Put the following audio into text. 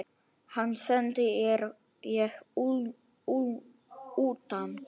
Hann sendi ég utan.